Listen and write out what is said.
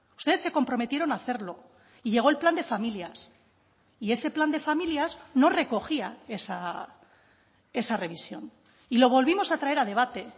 ustedes se comprometieron a hacerlo y llegó el plan de familias y ese plan de familias no recogía esa revisión y lo volvimos a traer a debate